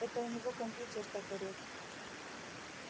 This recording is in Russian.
это у него компьютер так орёт